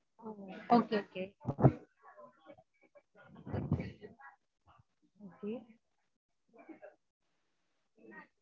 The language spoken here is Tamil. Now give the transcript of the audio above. okay okay okay